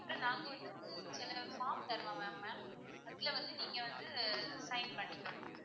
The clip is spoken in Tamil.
முதல்ல நாங்க வந்து ஒரு உங்களுக்கு ஒரு form தருவாங்க ma'am அதுல வந்து நீங்க வந்து sign பண்ணி தரணும்.